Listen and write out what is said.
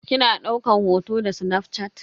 Kina daukan hoto da snafshat?